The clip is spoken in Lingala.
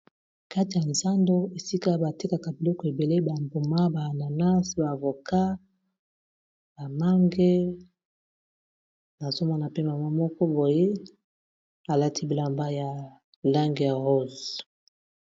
Kati ya zando esika batekaka biloko ebele ba mbuma ba ananas, ba avocat, ba mange, nazo mona pe mama moko boye alati bilamba ya lange ya rose.